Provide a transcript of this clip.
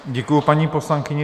Děkuju paní poslankyni.